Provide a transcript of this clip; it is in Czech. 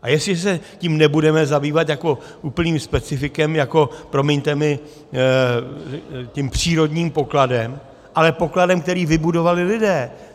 A jestli se tím nebudeme zabývat jako úplným specifikem, jako, promiňte mi, tím přírodním pokladem, ale pokladem, který vybudovali lidé.